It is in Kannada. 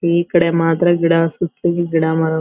ಈ ಕಡೆ ಮಾತ್ರ ಗಿಡ ಸುತ್ತಲು ಗಿಡ ಮರಗ--